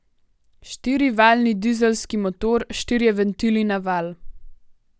Štirivaljni dizelski motor, štirje ventili na valj.